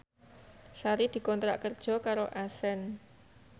Sari dikontrak kerja karo Accent